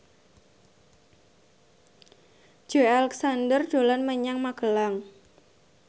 Joey Alexander dolan menyang Magelang